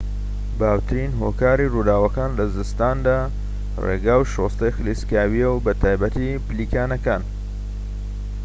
باوترین هۆکاری رووداوەکان لە زستاندا رێگا و شۆستەی خلیسکاویە و بەتایبەتی پلیکانەکان